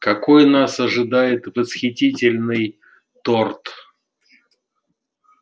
какой нас ожидает восхитительный торт